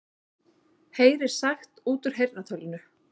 Heyrir sagt út úr heyrnartólinu